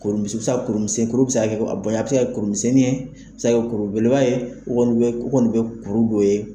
a bɛ se ka kɛ kurumisɛnnin ye , a bɛ se ka kɛ kuru belebbeleba ye kɔni bɛ kuru dɔ ye